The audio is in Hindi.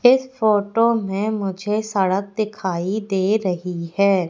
इस फोटो में मुझे सड़क दिखाई दे रही है।